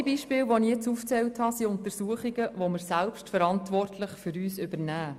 Alle diese Beispiele, die ich aufgezählt habe, sind Untersuchungen, welche wir selbstverantwortlich für uns übernehmen.